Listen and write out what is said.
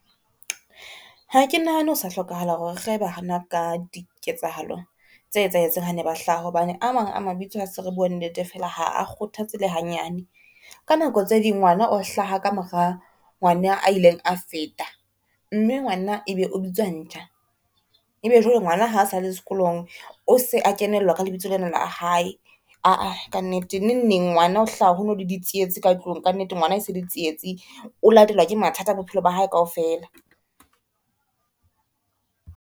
Ha ke nahane ho sa hlokahala hore re rehe bana ka diketsahalo tse etsahetseng hane ba hlaha, hobane a mang a mabitso ha se re bua nnete fela ha a kgothatse le hanyane. Ka nako tse ding ngwana o hlaha ka mora ngwana a ileng a feta, mme ngwana ebe o bitswa ntja, ebe jwale ngwana ha sa le sekolong o se a kenellwa ka lebitso lena la hae, aa ka nnete. Neng neng ngwana o hlaha ho no le di tsietsi ka tlung, ka nnete ngwana e se le Ditsietsi o latelwa ke mathata bophelo ba hae kaofela.